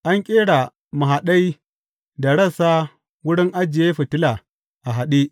An ƙera mahaɗai da rassa wurin ajiye fitila a haɗe.